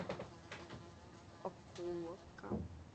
окуловка